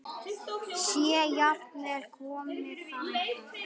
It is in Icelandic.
Sé jafnvel komið þangað!